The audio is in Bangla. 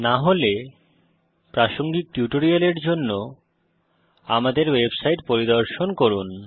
না হলে প্রাসঙ্গিক টিউটোরিয়ালের জন্য আমাদের ওয়েবসাইট পরিদর্শন করুন